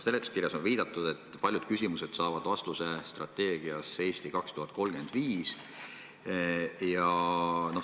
Seletuskirjas on viidatud, et paljud küsimused saavad vastuse strateegias "Eesti 2035".